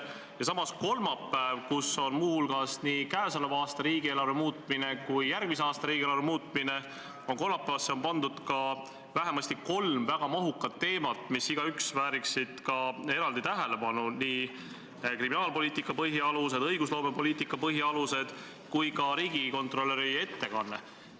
Ja samas on kolmapäevale, kus on muu hulgas arutlusel nii käesoleva aasta riigieelarve muutmine kui ka järgmise aasta riigieelarve, pandud ka vähemasti kolm väga mahukat teemat, millest igaüks vääriks eraldi tähelepanu: need on kriminaalpoliitika põhialused, õigusloomepoliitika põhialused kui ka riigikontrolöri ettekanne.